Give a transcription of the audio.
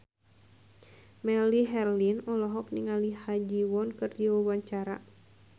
Melly Herlina olohok ningali Ha Ji Won keur diwawancara